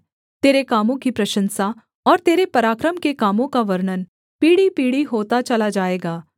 तेरे कामों की प्रशंसा और तेरे पराक्रम के कामों का वर्णन पीढ़ीपीढ़ी होता चला जाएगा